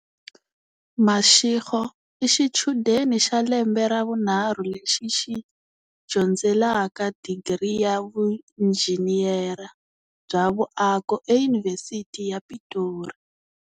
Mashego i xichudeni xa lembe ra vunharhu lexi xi dyondzelaka digiri ya vuinjhiniyara bya vuako eYunivhesiti ya Pitori.